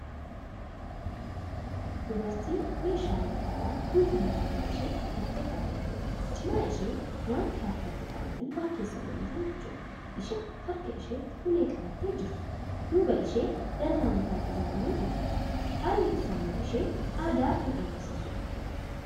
Dubartii meeshaaleen faayaa guutuummaa morma isheetti hidhattee dhaabattuudha. cinaa ishee wanti harkatti qabatanii waa keessa godhatantu jira. isheen harka isheetti ulee qabattee jirtu. duuba ishee dallaa mukaan ijaarametu jira. halli uffannaa ishee aadaa Kan agarsiisudha.